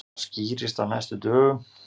Það skýrist á næstu dögum.